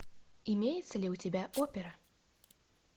имеется ли у тебя опера